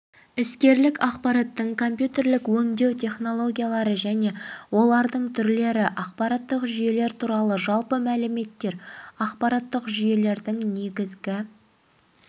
іскерлік ақпараттың компьютерлік өңдеу технологиялары және олардың түрлері ақпараттық жүйелер туралы жалпы мәліметтер ақпараттық жүйелердің негізгі